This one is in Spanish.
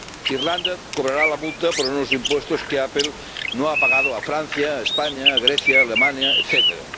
Irlanda cobrará la multa por unos impuestos que Apple no ha pagado a Francia, a España, a Grecia, a Alemania, etcétera.